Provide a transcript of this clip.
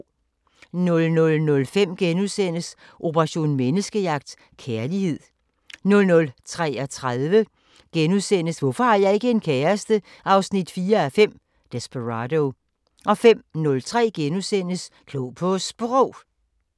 00:05: Operation Menneskejagt: Kærlighed * 00:33: Hvorfor har jeg ikke en kæreste? 4:5 – Desperado * 05:03: Klog på Sprog *